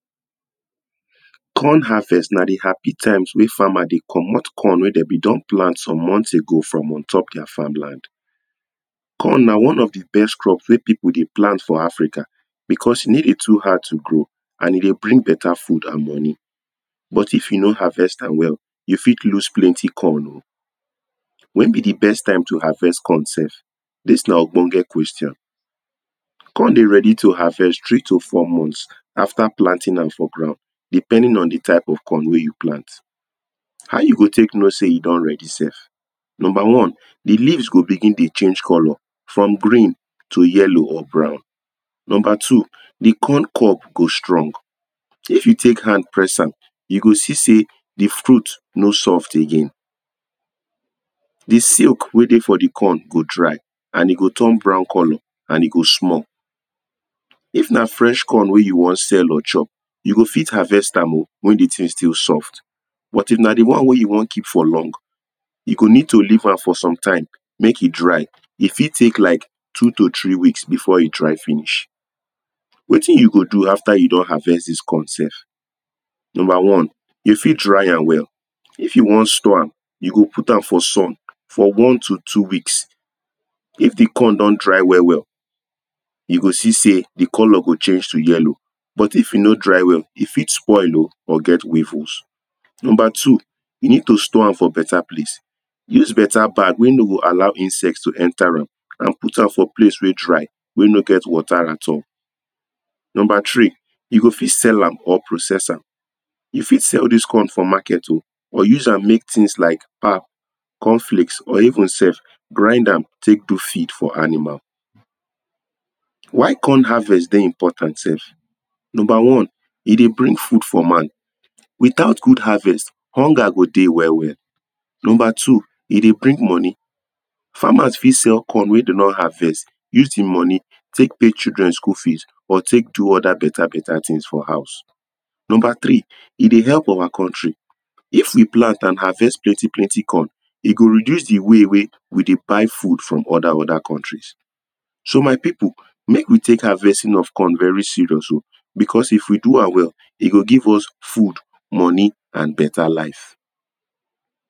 corn harvest nah the happy time weh farmers deh commot corn weh them been don plant some months ago from untop their farm land corn nah one of the best crop weh people deh plant for Africa because e deh too hard to grow and e deh bring better food and money but if you no harvest am well you fit loose plenty corn o when be the best time to harvest corn sef this nah okponke question corn deh ready to harvest three to four months after planting am for ground depending on the type of corn weh you plant how you go take know say e don ready sef number one the leaves go begin deh change colours from green to yellow or brown number two the corn cob go stong if you take hand press am you go see say the fruit no soft again the silk weh deh for the corn go dry and e turn brown colour and e go small if nah fresh corn weh you wan sell or chop you go fit harvest am o when the still soft but if nah the one weh you wan keep for long you go nee to leave am for sometime make e dry e fit take like two to three weeks befor e dry finihs wetin you go do after you don harvest this corn sef number one you fit dry am well if you wan store am you go put am for sun one one to two weeks if the corn don dry well well you go see say the colour go change to yellow but if you no dry well e fit spoil o or get weevils number two you need to store am for better place use better bag weh no go allow insect to enter am and out am for place weh dry weh no get water at all number three you go fit sell am or process am you fit sell this corn for market o or use am make things like pap corn flakes or even sef grind am take do feed for animal why corn harvest deh important sef nmber one e deh bring food for man without good harvest hunger go deh well well number two e deh bring money farmers fit sell corn weh dem don harvest use the money take pay children school fees or take do other better better things for house number three e deh help our country if we plant and harvest plenty plenty corn e go reduce deh way weh we deh buy food for other other contries so my people make we take harvesting of corn very serious o because if we do am well e go give us food money and better life